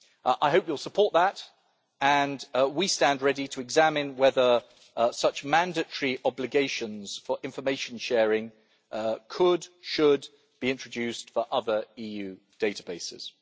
I hope you will support that and we stand ready to examine whether such mandatory obligations for information sharing could should be introduced for other EU databases.